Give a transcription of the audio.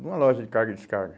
numa loja de carga e descarga.